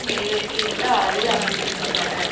நிறைவேற்றுகின்ற அளவில் அமைந்திருக்கின்றன